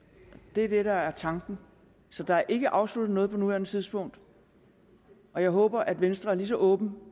det er det der er tanken så der er ikke afsluttet noget på nuværende tidspunkt og jeg håber at venstre er ligeså åben